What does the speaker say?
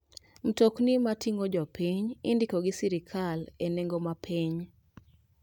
Mtokni mating'o jominy indiko gi sirkal e nengo mapiny.